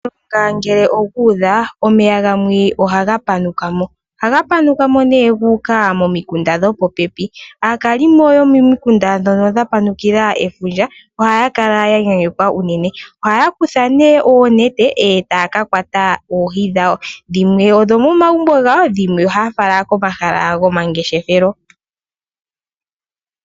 Kegulu ngele okuudha omeya gamwe ohaga panukamo , ohaga panukamo etaga yi momikunda dho popepi . Aakalimo yomomikunda moka mwa panukila efundja ohaya kala ya yayekwa unene . Ohaya kutha nee oonete etaaka kwata oohi dhawo. Dhimwe ta ye dhi ningi dho moma gumbo ga wo , dhimwe ohaya fala komahala gomangeshefelo.